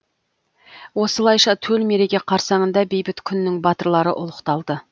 осылайша төл мереке қарсаңында бейбіт күннің батырлары ұлықталды